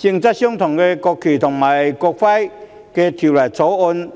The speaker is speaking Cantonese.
今天，我們順利恢復這項性質相同的《條例草案》